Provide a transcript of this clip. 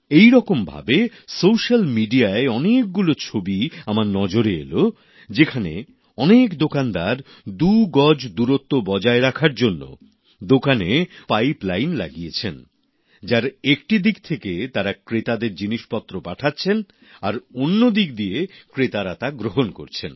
একইরকম ভাবে সোশ্যাল মিডিয়ায় অনেকগুলো ছবি আমার নজরে এলো যেখানে অনেক দোকানদার দু গজ দূরত্ব বজায় রাখার জন্য দোকানে বোরো পাইপলাইন লাগিয়েছেন যার একটি দিক থেকে তারা ক্রেতাদের জিনিসপত্র পাঠাচ্ছেন আর অন্য দিক দিয়ে ক্রেতারা তা গ্রহণ করছেন